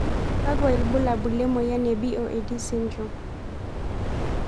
Kakwa ibulabul lemoyian e BOD sydrome?